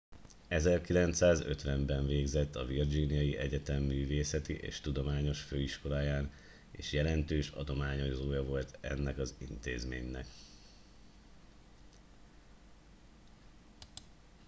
1950 ben végzett a virginiai egyetem művészeti és tudományos főiskoláján és jelentős adományozója volt ennek az intézménynek